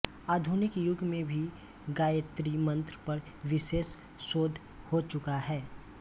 आधुनिक युग में भी गायत्री मंत्र पर विशेष शोध हो चुका है